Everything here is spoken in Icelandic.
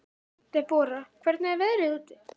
Debora, hvernig er veðrið úti?